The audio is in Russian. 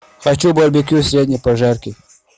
хочу барбекю средней прожарки